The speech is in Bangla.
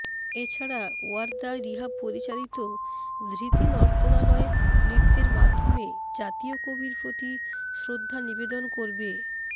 এ ছাড়া ওয়ার্দা রিহাব পরিচালিত ধৃতি নর্তনালয় নৃত্যের মাধ্যমে জাতীয় কবির প্রতি শ্রদ্ধা নিবেদন করবে